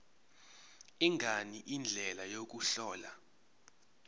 ngani indlela yokuhlola